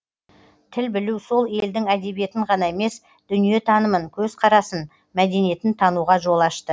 тіл білу сол елдің әдебиетін ғана емес дүниетанымын көзқарасын мәдениетін тануға жол ашты